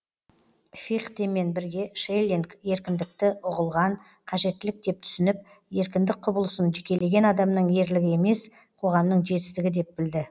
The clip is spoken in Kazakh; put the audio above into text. фихтемен бірге шеллинг еркіндікті ұғылған қажеттілік деп түсініп еркіндік құбылысын жекелеген адамның ерлігі емес қоғамның жетістігі деп білді